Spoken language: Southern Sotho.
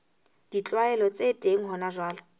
ditlwaelo tse teng hona jwale